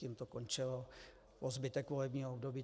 Tím to končilo po zbytek volebního období.